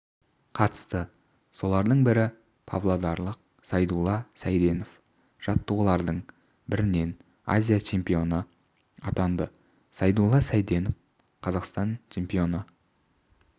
қатысты солардың бірі павлодарлық сайдулла сәйденов жаттығулардың бірінен азия чемпионы атанды сайдулла сәйденов қазақстан чемпионы